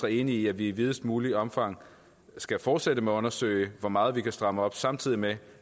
enig i at vi i videst muligt omfang skal fortsætte med at undersøge hvor meget vi kan stramme op samtidig med